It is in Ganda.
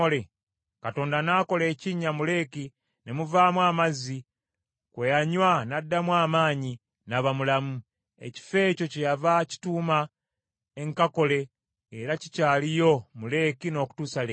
Katonda n’akola ekinnya mu Leki, ne muvaamu amazzi, kwe yanywa n’addamu amaanyi, n’aba mulamu. Ekifo ekyo kyeyava akituuma Enkakkole, era kikyaliyo mu Leki n’okutuusa leero.